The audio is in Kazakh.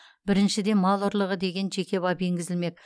біріншіден мал ұрлығы деген жеке бап енгізілмек